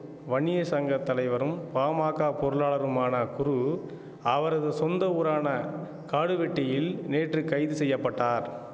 வன்னியர் சங்க தலைவரும் பாமாக்க பொருளாளருமான குரு அவரது சொந்த ஊரான காடுவெட்டியில் நேற்று கைது செய்ய பட்டார்